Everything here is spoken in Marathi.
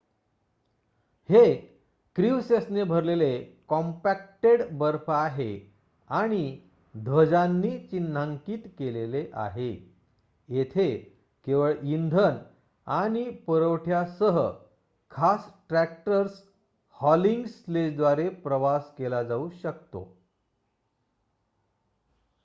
हे क्रिव्हसेसने भरलेले कॉम्पॅक्टेड बर्फ आहे आणि ध्वजांनी चिन्हांकित केलेले आहे येथे केवळ इंधन आणि पुरवठ्यासह खास ट्रॅक्टर्स हॉलिंग स्लेजद्वारे प्रवास केला जाऊ शकतो